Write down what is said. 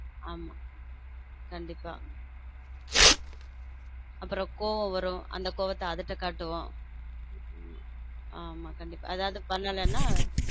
ஆமா கண்டிப்ப அப்புறம் கோபம் வரும் அந்த கோபத்தை அது கிட்ட காட்டுவோம் ஆமா கண்டிப்பா அதாவது பண்ணலேன்னா.